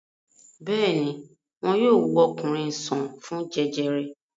Bẹ́ẹ̀ ni, wọn yóò wo ọkùnrin sàn fún jẹjẹrẹ.